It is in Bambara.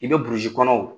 I bɛ burusi kɔnɔ